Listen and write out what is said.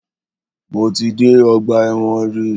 Mo ti dé ọgbà ẹ̀wọ̀n rí.